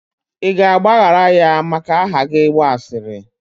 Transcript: ị ga-agbaghara ya maka aha gị gba asịrị?